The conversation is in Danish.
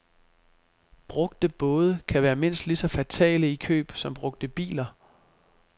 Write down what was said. Brugte både kan være mindst lige så fatale i køb som brugte biler.